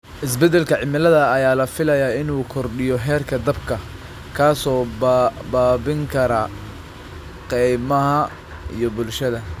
Isbedelka cimilada ayaa la filayaa inuu kordhiyo heerka dabka, kaas oo baabi'in kara kaymaha iyo bulshada.